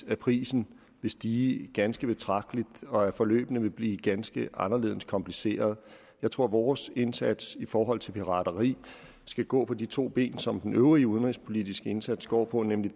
at prisen vil stige ganske betragteligt og at forløbene vil blive ganske anderledes komplicerede jeg tror vores indsats i forhold til pirateri skal gå på de to ben som den øvrige udenrigspolitiske indsats går på nemlig